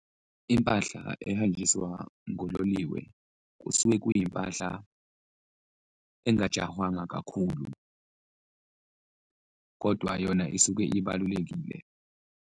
Impahla ehanjiswa ngololiwe kusuke kuyimpahla engajahwanga kakhulu kodwa yona isuke ibalulekile.